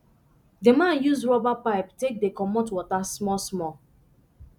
the man use rubber pipe take dey comot water smallsmall